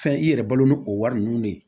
Fɛn i yɛrɛ balo n'o o wari nunnu de ye